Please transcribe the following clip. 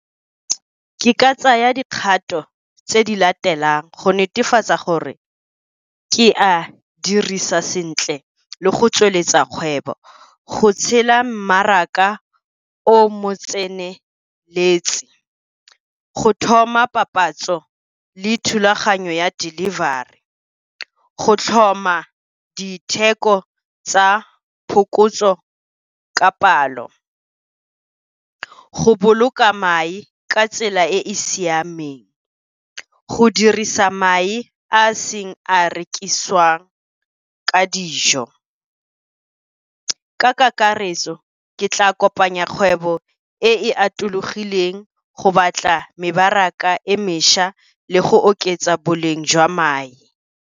Ke ka tsaya dikgato tse di latelang go netefatsa gore ke a dirisa sentle le go tsweletsa kgwebo. Go tshela mmaraka o mo tseneletse ka go thoma papatso le thulaganyo ya delivery, go tlhoma ditheko tsa phokotso ka palo, go boloka mae ka tsela e e siameng, go dirisa mae a a seng a rekiswa ka dijo. Ka kakaretso, ke tla kopanya kgwebo e e atologileng, go batla mebaraka e mešwa le go oketsa boleng jwa mae.